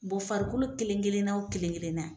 Bɔ farikolo kelen-kelenna o kelen-kelenna